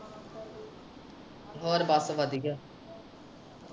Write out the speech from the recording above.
ਹੋਰ ਬਸ ਵਧੀਆ।